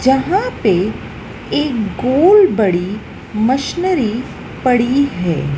जहां पे एक गोल बड़ी मशीनरी पड़ी है।